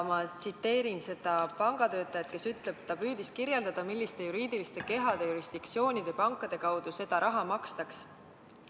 Ma tsiteerin seda pangatöötajat: "Ta püüdis kirjeldada, milliste juriidiliste kehade, jurisdiktsioonide ja pankade kaudu seda raha makstaks.